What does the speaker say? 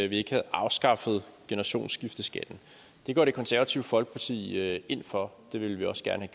vi ikke havde afskaffet generationsskifteskatten det går det konservative folkeparti ind for det ville vi også gerne